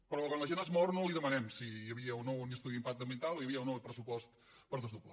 però quan la gent es mor no li demanem si hi havia o no un estudi d’impacte ambiental o hi havia o no pres·supost per desdoblar